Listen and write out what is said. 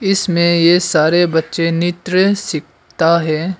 इसमें ये सारे बच्चे नित्र सीखता है।